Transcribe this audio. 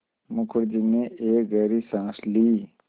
मुखर्जी ने एक गहरी साँस ली